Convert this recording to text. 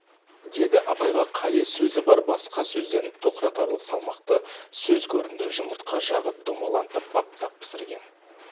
деді абайға қали сөзі бар басқа сөзден тоқыратарлық салмақты сөз көрінді жұмыртқа жағып домалантып баптап пісірген